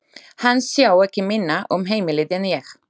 Hann sá ekki minna um heimilið en ég.